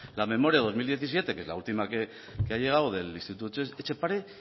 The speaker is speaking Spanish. la memoria dos mil diecisiete que es la última que ha llegado del instituto etxepare